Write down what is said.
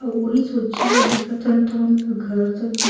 आऊ ओहि सब्जी ला देखत हन त हमला घर तक दिख--